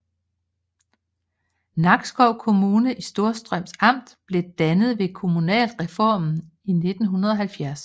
Nakskov Kommune i Storstrøms Amt blev dannet ved kommunalreformen i 1970